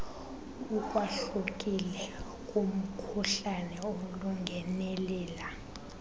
ukwahlukile kumkhuhlane olingenelela